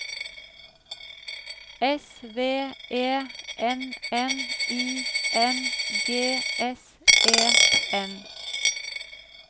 S V E N N I N G S E N